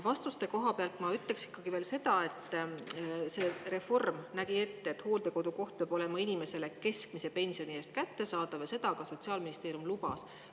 Vastuste koha pealt ma ütleksin ikkagi veel seda, et see reform nägi ette, et hooldekodukoht peab olema inimesele keskmise pensioni eest kättesaadav, ja seda ka Sotsiaalministeerium lubas.